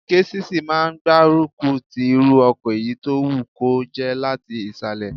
Késìsì máa n gbárùkù ti irú ọkọ̀ èyí tó wù kó jẹ́ láti ìsàlẹ̀